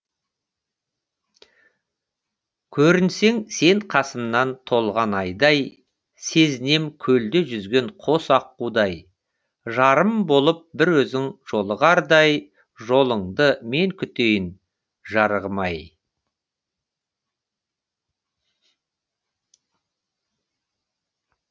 көрінсең сен қасымнан толған айдай сезінем көлде жүзген қос аққудай жарым болып бір өзің жолығардай жолыңды мен күтейін жарығым ай